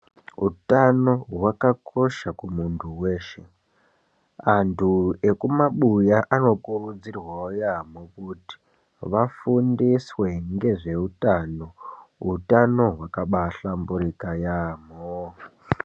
Utano hwakakosha kumuntu weshe, antu ekumabuya anokurudzirwawo yambo kuti vafundiswe ngezveutano, utano hwakahlamburuka yambo.